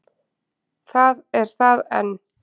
Það er það enn.